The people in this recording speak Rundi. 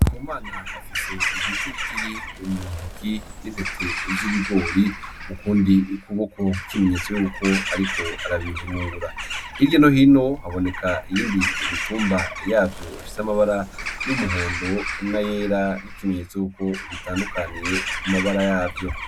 Ku mana afise igiti itiri muntoki n'intete z'ibigori mu kundi ikuboko nk'ikimenyetso yuko, ariko arabihurungura hirye nohino haboneka yindi imitumba yavyo ifise amabara youmuhondo na yera nk'ikimenyetso yukwo bitandukaniye ku mabara yavyo.